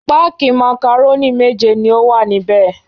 Páákì màkàrónì méje ni ó wà níbẹ̀.